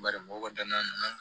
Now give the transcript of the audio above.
Bari mɔgɔ ka danaya nana